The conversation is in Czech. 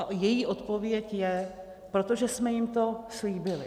A její odpověď je, protože jsme jim to slíbili.